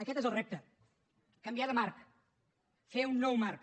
aquest és el repte canviar de marc fer un nou marc